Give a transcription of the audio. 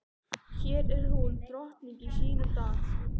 Hér er hún drottning í sínum dal.